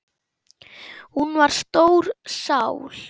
Hún var stór sál.